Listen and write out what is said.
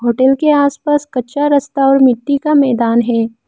Hotel के आसपास कच्चा रास्ता और मिट्टी का मैदान है।